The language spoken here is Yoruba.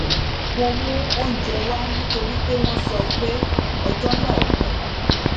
mo mú oúnjẹ wá nítorí pé wón sọ pé ọjó náà gùn